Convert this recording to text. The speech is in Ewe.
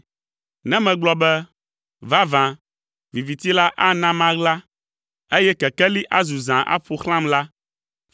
Ne megblɔ be, “Vavã, viviti la ana maɣla, eye kekeli azu zã aƒo xlãm” la,